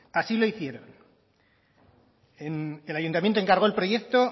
así lo hicieron el ayuntamiento encargó el proyecto